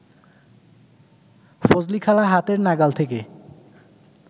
ফজলিখালা হাতের নাগাল থেকে